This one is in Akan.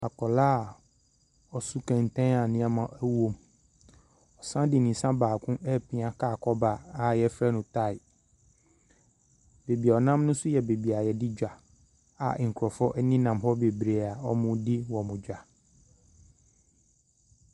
Akwadaa a ɔso kɛntɛn a nneɛma ɛwɔ mu, ɔsan de ne nsa baako ɛrepia car kɔba a yɛfrɛ no tae, beebi ɔnam no nso yɛ beebi yɛdi dwa a nkrɔfoɔ ɛnenam hɔ bebree a wɔredi wɔn dwa.